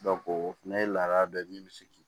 o fana ye laada dɔ ye min bɛ se k'i